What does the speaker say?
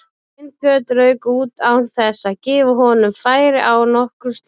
Sveinbjörn rauk út án þess að gefa honum færi á nokkru slíku.